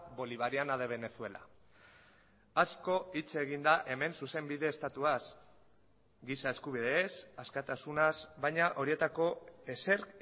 bolivariana de venezuela asko hitz egin da hemen zuzenbide estatuaz giza eskubideez askatasunaz baina horietako ezer